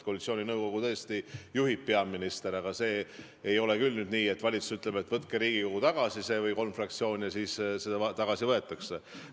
Koalitsiooninõukogu tõesti juhib peaminister, aga see ei ole küll nüüd nii, et valitsus ütleb või kolm fraktsiooni ütlevad, et võtke see Riigikogust tagasi, ja siis see ka tagasi võetakse.